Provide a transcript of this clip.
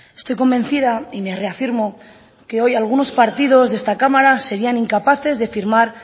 estoy convencida y me reafirmo que hoy algunos partidos de esta cámara serían incapaces de firmar